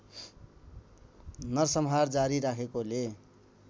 नरसंहार जारी राखेकोले